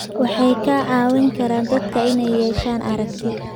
Waxay ka caawin karaan dadka inay yeeshaan aragti.